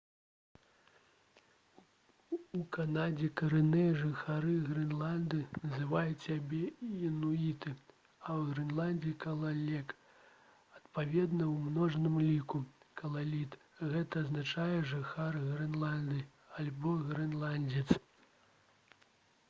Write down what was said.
у канадзе карэнныя жыхары грэнландыі называюць сябе інуіты а ў грэнландыі — «калалек» адпаведна у множным ліку — «калаліт». гэта азначае «жыхар грэнландыі» альбо «грэнландзец»